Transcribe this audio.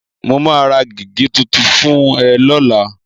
Mo máa ra gègé tuntun fún ẹ lọ́la.